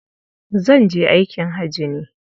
Zan je aikin haji ne.